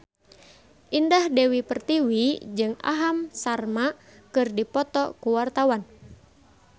Indah Dewi Pertiwi jeung Aham Sharma keur dipoto ku wartawan